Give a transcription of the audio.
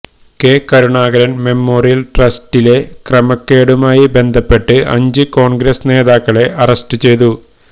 K Karunakaran memorial ട്രസ്റ്റിലെ ക്രമക്കേടുമായി ബന്ധപ്പെട്ട് അഞ്ച് കോണ്ഗ്രസ് നേതാക്കളെ അറസ്റ്റ് ചെയ്തു